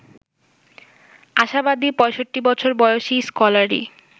আশাবাদী ৬৫ বছর বয়সী স্কলারি